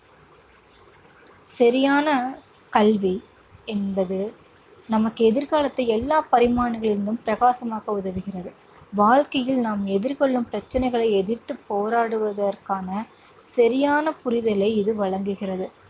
சரியான கல்வி என்பது நமக்கு எதிர்காலத்தை எல்லா பரிமாணங்களில் இருந்தும் பிரகாசமாக்க உதவுகிறது. வாழ்க்கையில் நாம் எதிர்கொள்ளும் பிரச்சனைகளை எதிர்த்துப் போராடுவதற்கான சரியான புரிதலை இது வழங்குகிறது.